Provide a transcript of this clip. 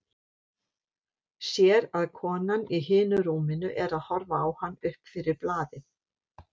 Sér að konan í hinu rúminu er að horfa á hann upp fyrir blaðið.